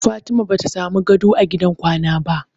Fatima bata samu gado a gidan kwana ba.